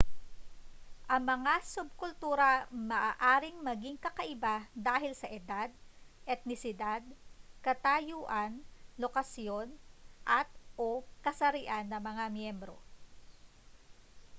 ang mga subkultura ay maaaring maging kakaiba dahil sa edad etnisidad katayuan lokasyon at/o kasarian ng mga miyembro